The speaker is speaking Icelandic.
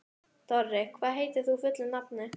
Dorri, hvað heitir þú fullu nafni?